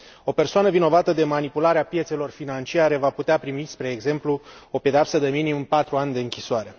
O persoană vinovată de manipularea piețelor financiare va putea primi, spre exemplu, o pedeapsă de minimum patru ani de închisoare.